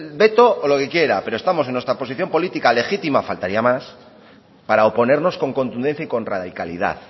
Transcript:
veto o lo que quiera pero estamos en nuestra posición política legítima faltaría más para oponernos con contundencia y con radicalidad